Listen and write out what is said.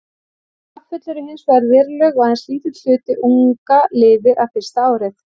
Afföll eru hins vegar veruleg og aðeins lítill hluti unga lifir af fyrsta árið.